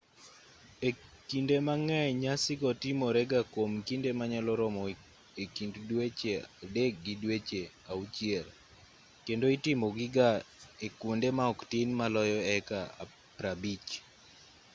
e kinde mang'eny nyasi go timorega kwom kinde manyalo romo e kind dweche adek gi dweche auchiel kendo itimogi ga e kwonde ma oktin maloyo heka 50